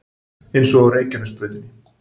Eins og á Reykjanesbrautinni